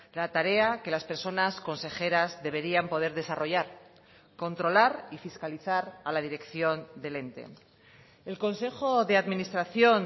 la tarea que las personas consejeras deberían poder desarrollar controlar y fiscalizar a la dirección del ente el consejo de administración